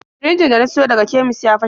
Sirinjin da na siyo daga kemis ya fashe.